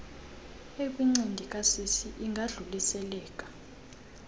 ekwincindi kasisi ingadluliseleka